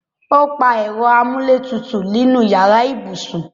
O pa ẹ̀rọ amúlétutù inu yàrá ibùsùn